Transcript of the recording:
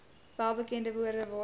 welbekende woorde waarmee